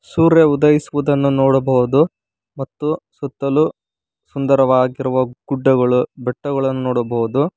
ಸೂರ್ಯ ಉದಯಿಸುವುದನ್ನು ನೋಡಬಹುದು ಮತ್ತು ಸುತ್ತಲು ಸುಂದರವಾಗಿರುವ ಗುಡ್ಡಗಳು ಬೆಟ್ಟಗಳನ್ನು ನೋಡಬಹುದು.